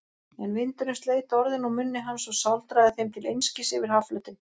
En vindurinn sleit orðin úr munni hans og sáldraði þeim til einskis yfir hafflötinn.